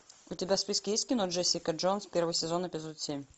у тебя в списке есть кино джессика джонс первый сезон эпизод семь